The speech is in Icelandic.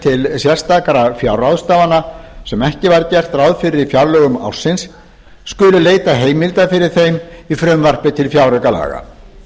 til sérstakra fjárráðstafana sem ekki var gert ráð fyrir í fjárlögum ársins skuli leitað heimilda fyrir þeim í frumvarpi til fjáraukalaga